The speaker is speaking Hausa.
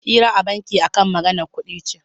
Hira a banki akan maganar kuɗi ce